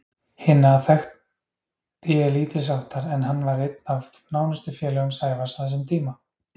Hinna þekkti ég lítilsháttar en hann var einn af nánustu félögum Sævars á þessum tíma.